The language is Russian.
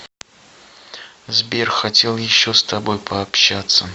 сбер хотел еще с тобой пообщаться